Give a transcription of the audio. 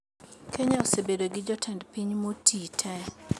Kenya osebedo gi jotend piny motii tee